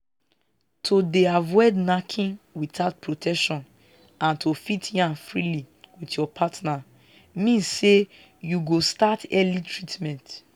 to dey avoid knacking without protection and to fit yarn freely with your partner means say you go start early treatment